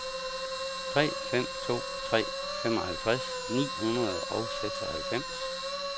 tre fem to tre femoghalvtreds ni hundrede og seksoghalvfems